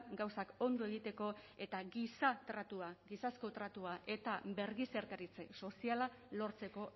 gauzak ondo egiteko eta giza tratua eta birgizarteratze soziala lortzeko